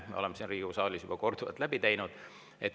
Olen siin Riigikogu saalis seda juba korduvalt teinud.